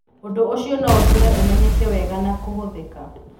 ũndũ ũcio no ũtũme ũmenyeke wega na kũhũthika.